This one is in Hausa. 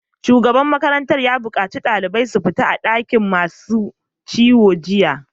Shugaban makarantar ya bukaci ɗaliban su fita daga dakin masu ciwo jiya!